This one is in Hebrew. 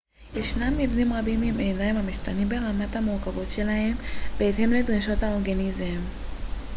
ישנם מבנים רבים של עיניים המשתנים ברמת המורכבות שלהם בהתאם לדרישות האורגניזם